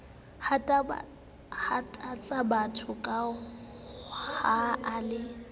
hatabatsabatho ke ha a le